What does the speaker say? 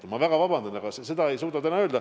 Ma palun väga vabandust, aga seda ei suuda keegi täna öelda.